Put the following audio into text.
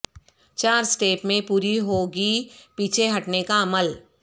چار اسٹیپ میں پوری ہوگی پیچھے ہٹنے کا عمل